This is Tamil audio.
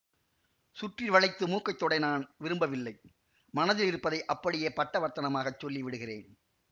சுற்றி வளைத்து மூக்கை தொடை நான் விரும்பவில்லை மனதிலிருப்பதை அப்படியே பட்டவர்த்தனமாகச் சொல்லி விடுகிறேன்